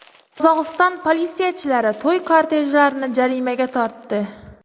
Qozog‘iston politsiyachilari to‘y kortejlarini jarimaga tortdi.